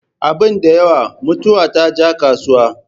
Abin da yawa, mutuwa ta je kasuwa